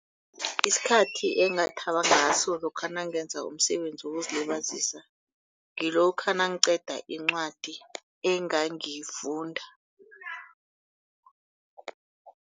Isikhathi engathaba ngaso lokha nangenza umsebenzi wokuzilibazisa ngilokha nangiqeda incwadi engangiyingifunda.